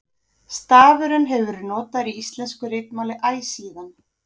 Stafurinn hefur verið notaður í íslensku ritmáli æ síðan.